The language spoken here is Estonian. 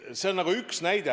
See on üks näide.